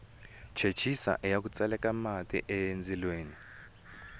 chechisa iya ku tseleka mati endzilweni